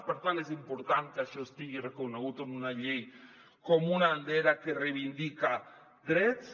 per tant és important que això estigui reconegut en una llei com una bandera que reivindica drets